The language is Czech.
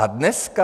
A dneska.